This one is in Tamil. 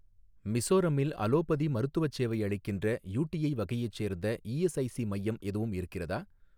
மிசோரமில் அலோபதி மருத்துவச் சேவை அளிக்கின்ற, யூடிஐ வகையைச் சேர்ந்த இஎஸ்ஐஸி மையம் எதுவும் இருக்கிறதா?